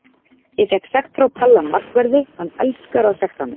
Ég fékk sekt frá Palla markverði, hann elskar að sekta mig.